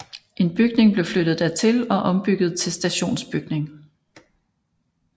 En bygning blev flyttet dertil og ombygget til stationsbygning